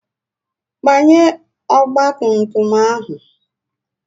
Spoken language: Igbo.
Gbanye ọgba tum tum ahụ!